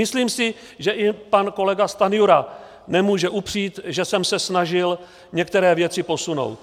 Myslím si, že i pan kolega Stanjura nemůže upřít, že jsem se snažil některé věci posunout.